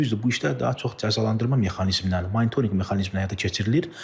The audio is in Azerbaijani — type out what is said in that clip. Düzdür, bu işlər daha çox cəzalandırma mexanizmi ilə, monitorinq mexanizmi ilə həyata keçirilir.